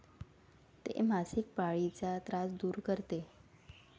ते मासिक पाळीचा त्रास दूर करते.